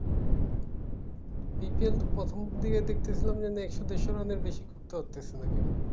cricket প্রথম দিকে দেখতে সিলাম যে একশো দেড়শো রানের বেশি কেও করতে পারতেসিলো না কেউ